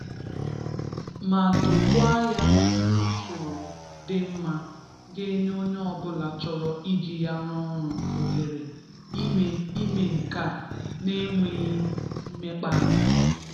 ma dokwaa ya n'usoro dị mma ga-enye onye ọbụla chọrọ iji ya rụọ ọrụ ohere ime ime nke a n'enweghị mmekpa ahụ.